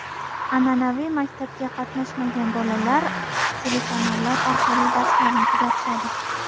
An’anaviy maktabga qatnamagan bolalar telekanallar orqali darslarni kuzatishadi.